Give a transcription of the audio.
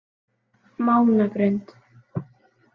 Mánagrund